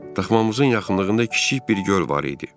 Daxmamızın yaxınlığında kiçik bir göl var idi.